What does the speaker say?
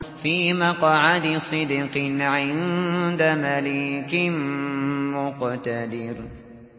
فِي مَقْعَدِ صِدْقٍ عِندَ مَلِيكٍ مُّقْتَدِرٍ